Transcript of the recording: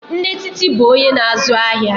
Nne Titi bụ onye na-azụ ahịa.